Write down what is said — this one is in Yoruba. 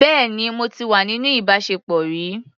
Bẹ́ẹ̀ni, mo ti wà níní ìbáṣepọ̀ rí.